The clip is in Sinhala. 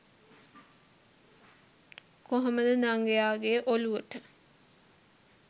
කොහොමද දඟයාගේ ඔලුවට